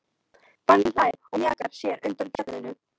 Fanginn hlær og mjakar sér undan fjallinu.